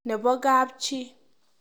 Nebo kapchi.